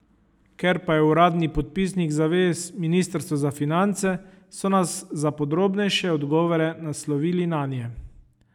Ker pa je uradni podpisnik zavez ministrstvo za finance, so nas za podrobnejše odgovore naslovili nanje.